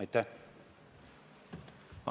Aitäh!